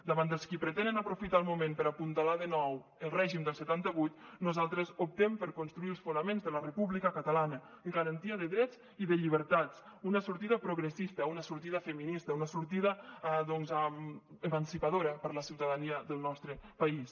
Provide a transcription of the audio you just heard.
davant dels qui pretenen aprofitar el moment per apuntalar de nou el règim del setanta vuit nosaltres optem per construir els fonaments de la república catalana garantia de drets i de llibertats una sortida progressista una sortida feminista una sortida doncs emancipadora per a la ciutadania del nostre país